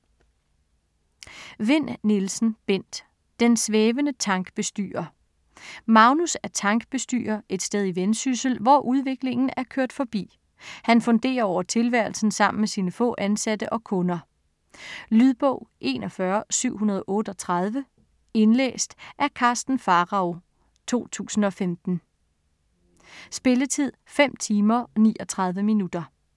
Vinn Nielsen, Bent: Den svævende tankbestyrer Magnus er tankbestyrer et sted i Vendsyssel, hvor udviklingen er kørt forbi. Han funderer over tilværelsen sammen med sine få ansatte og kunder. Lydbog 41738 Indlæst af Karsten Pharao, 2015. Spilletid: 5 timer, 39 minutter.